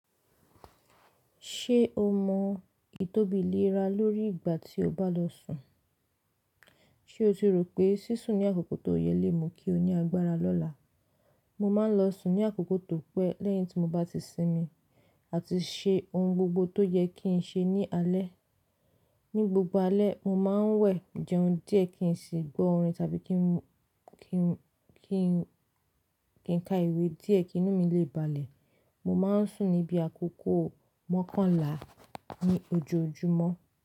Ṣé o mọ ìtóbi léra lórí ìgbà tí o bá lọ sùn? Ṣé o ti rò pé sísùn ní àkókò tó yẹ lé mú kí o ní agbára lọ́la? Mo máa ń lọ sùn ní àkókò tó pẹ́ lẹ́yìn tí mo bá ti sinmi àti ṣe ohun gbogbo tó yẹ kí n ṣe ní alẹ́. Ni gbogbo alẹ́, mo máa ń wẹ̀ jẹun díẹ̀ kí n sì gbọ́ orin tàbí kí n, kí n, kí n ka ìwé díẹ̀ kí inú mi lè balẹ̀. Mo máa ń sùn níbi àkókò mọ́kànlá ní ojoojúmọ́.